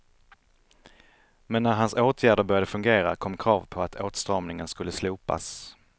Men när hans åtgärder började fungera kom krav på att åtstramningen skulle slopas.